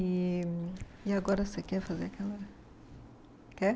E e agora você quer fazer aquela... Quer?